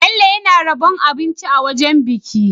Bello yAna rabon abinci a wajan biki